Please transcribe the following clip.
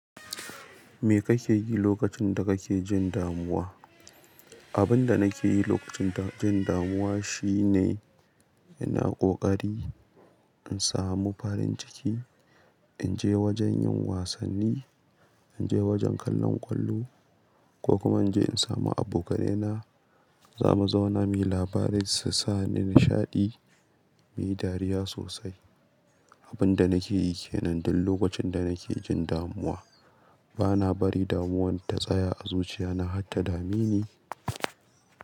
Me kake yi lokacin da kake jin damuwa? Abin da nake yi lokacin jin damuwa shine ina ƙoƙari in samu farin ciki, in je wajen yin wasanni, in je wajen kallon ƙwallo ko kuma in je in samu abokaina. Za mu zauna muyi labari su sa ni nishaɗi, muyi dariya sosai. Abin da nake yi ke nan duk lokacin da nake jin damuwa. Ba na bari damuwan ta tsaya a zuciya na, hatta dame ne.